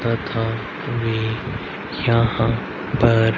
तथा वे यहां पर--